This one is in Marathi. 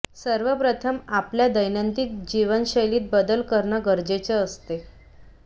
सर्व प्रथम आपल्या दैनंदिन जीवनशैलीत बदल करणं गरजेचं असते